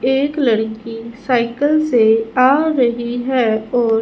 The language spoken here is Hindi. एक लड़की साइकल से आ रही है और--